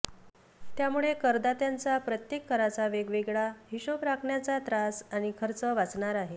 त्यामुळे करदात्यांचा प्रत्येक कराचा वेगवेगळा हिशेब राखण्याचा त्रास आणि खर्च वाचणार आहे